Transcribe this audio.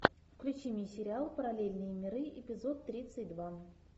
включи мне сериал параллельные миры эпизод тридцать два